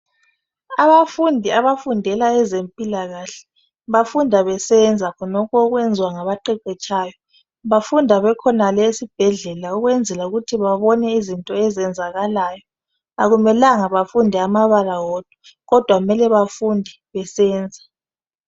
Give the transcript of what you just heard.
Abafundi abafundela ezempila kahle bafunda besenza khonokho okwenzwa ngabaqeqetshayo bafunda bekhonale esibhedlela ukwenzela ukuthi babone izinto ezenzakalayo akumelanga bafunde amabala wodwa kodwa mele bafunde besenza